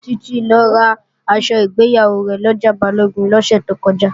Títí lọ raṣọ ìgbéyàwó rẹ̀ lọjà Balógun lọ́sẹ̀ tó kọjá